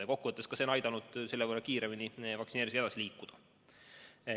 Ja kokkuvõttes on see aidanud meil selle võrra kiiremini vaktsineerimisega edasi liikuda.